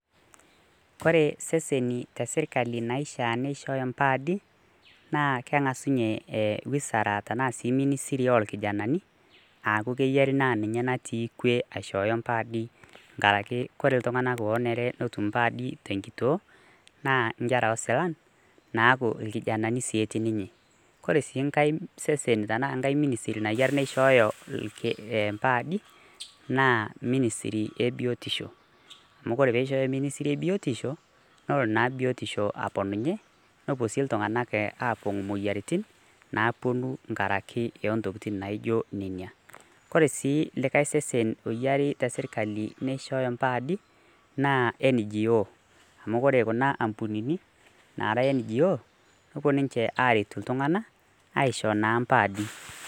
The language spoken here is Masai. Oree seseni teserkali naishaa nishooyo nkardi naa keng'as ninye wizara tanaa ministry orkijanani aa keyienu na ninye natii kue aishooyo nkaardi ,ore ltung'anak onere nitum nkardi tenkitoo naa nkera osila naaku rkijanani sii etii ninche, ore si nkae seseni tanaa ministry nayio nishooyo nkardi naa ministry ee biotisho, amu ore peishooyo ministry e biotisho nelo naa biotisho aponunye, oshi ltung'anak atum moyiaritin naapuo nkaraki ontokitin naijo nona, koree sii likae sesen oyiari teserkali nishooyo nkardi na NGO amu kore kuna ambunini naji ngo kepuo niche aret ltung'anak aishoo naa nkaardi.